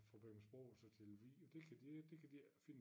Fra Bækmarksbro og så til Lemvig og det kan de ik det kan de ikke finde